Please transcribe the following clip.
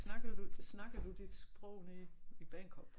Snakker du snakker du dit sprog nede i Bagenkop